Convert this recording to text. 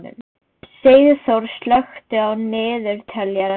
Sigþór, slökktu á niðurteljaranum.